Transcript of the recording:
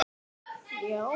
Jú, það má segja það.